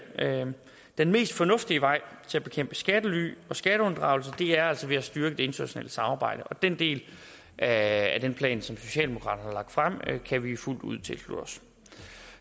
den mest fornuftige vej til at bekæmpe skattely og skatteunddragelse er altså ved at styrke det internationale samarbejde og den del af den plan som socialdemokraterne har frem kan vi fuldt ud tilslutte os